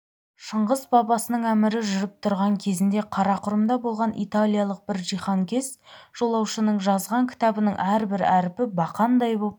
шыңғыс бабасының әмірі жүріп тұрған кезінде қарақұрымда болған италиялық бір жиһанкез жолаушының жазған кітабының әрбір әрпі бақандай боп